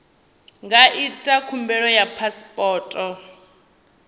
nga ita khumbelo ya phasipoto